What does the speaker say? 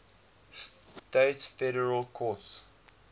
states federal courts